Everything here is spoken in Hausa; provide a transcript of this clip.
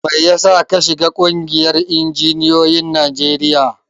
Mai yasa ka shiga ƙungiyar injiniyoyin Najeriya?